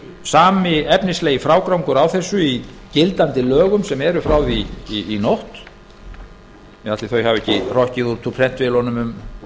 sami efnislegi frágangur á þessu í gildandi lögum sem eru frá því í nótt ætli þau hafi ekki hrokkið út úr prentvélunum um